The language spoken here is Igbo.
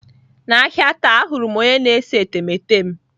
N'ahịa taa ahụrụ m onye na-ese etemeete m.